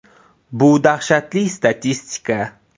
Bu dahshatli statistika.